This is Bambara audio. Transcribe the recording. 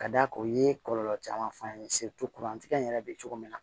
Ka d'a kan u ye kɔlɔlɔ caman f'a ye kurantigɛn in yɛrɛ bɛ cogo min na